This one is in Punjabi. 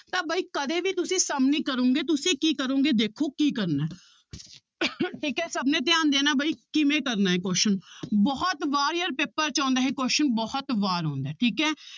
ਤਾਂ ਬਾਈ ਕਦੇ ਵੀ ਤੁਸੀਂ sum ਨੀ ਕਰੋਂਗੇ ਤੁਸੀਂ ਕੀ ਕਰੋਗੇ ਦੇਖੋ ਕੀ ਕਰਨਾ ਹੈ ਠੀਕ ਹੈ ਸਭ ਨੇ ਧਿਆਨ ਦੇਣਾ ਬਾਈ ਕਿਵੇਂ ਕਰਨਾ ਹੈ question ਬਹੁਤ ਵਾਰ ਯਾਰ ਪੇਪਰ 'ਚ ਆਉਂਦਾ ਇਹ question ਬਹੁਤ ਵਾਰ ਆਉਂਦਾ ਹੈ ਠੀਕ ਹੈ